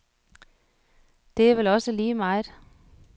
Det er vel også lige meget.